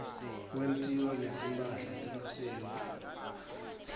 kwentiwa netimpahla temasiko